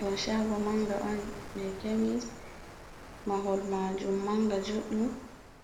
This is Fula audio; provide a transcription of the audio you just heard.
Ɗo shago manga on je kemis, mahol majum manga juɗɗum,